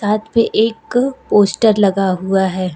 यहां पे एक पोस्टर लगा हुआ है।